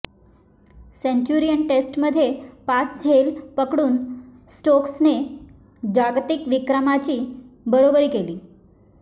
Centurion टेस्टमध्ये पाच झेल पकडून स्टोक्सने जागतिक विक्रमाची बरोबरी केली